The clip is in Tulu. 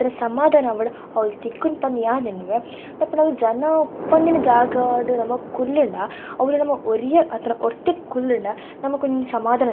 ಒಂತರ ಸಮಧಾನ ಆವಡ್ ಅವ್ಲು ತಿಕ್ಕುಂಡ್ ಪಂದ್ ಯಾನ್ ಎನ್ನುವೆ ದಾಯೆ ಪಂಡ ಅವ್ಲು ಜನ ಉಪ್ಪಂದಿನ ಜಾಗಡ್ ನಮ ಕುಲ್ಲುಂಡ ಅವ್ಲು ನಮ ಒರಿಯೆ ಅತ್ಂಡ ಒರ್ತಿ ಕುಲ್ಲುಂಡ ನಮಕ್ ಒಂಜಿ ಸಮಧಾನ --